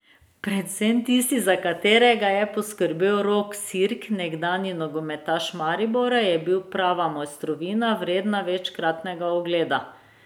Predvsem tisti, za katerega je poskrbel Rok Sirk, nekdanji nogometaš Maribora, je bil prava mojstrovina, vredna večkratnega ogleda.